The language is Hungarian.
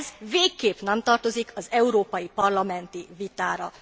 Ez végképp nem tartozik az európai parlamenti vitára.